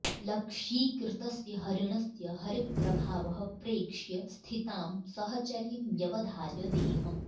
लक्ष्यीकृतस्य हरिणस्य हरिप्रभावः प्रेक्ष्य स्थितां सहचरीं व्यवधाय देहं